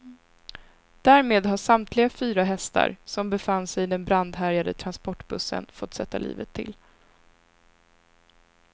Därmed har samtliga fyra hästar, som befann sig i den brandhärjade transportbussen, fått sätta livet till.